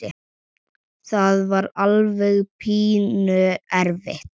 Það var alveg pínu erfitt.